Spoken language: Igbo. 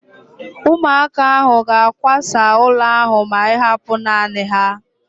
Ụmụaka ahu ga-akwasa ụlọ ahu ma ịhapụ naanị ha